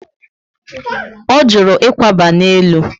O juru ikwaba na élú